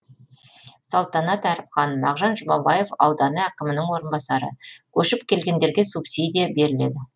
салтанат әріпхан мағжан жұмабаев ауданы әкімінің орынбасары көшіп келгендерге субсидия беріледі